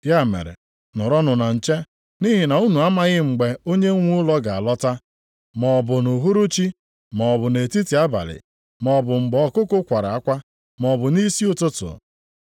“Ya mere nọrọnụ na nche, nʼihi na unu amaghị mgbe Onyenwe ụlọ ga-alọta. Ma ọ bụ nʼuhuruchi maọbụ nʼetiti abalị. Maọbụ mgbe ọkụkụ kwara akwa, maọbụ nʼisi ụtụtụ.